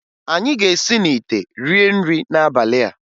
Anyị ga-esi n'ite rie nrị n'abalị a